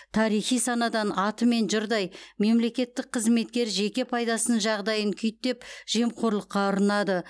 тарихи санадан атымен жұрдай мемлекеттік қызметкер жеке пайдасының жағдайын күйттеп жемқорлыққа ұрынады